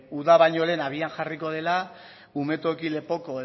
uda baino lehen abian jarriko dela umetoki lepoko